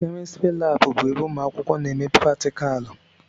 Kemịstrị laabụ bụ ebe ụmụ akwụkwọ na-eme pratikaalụ.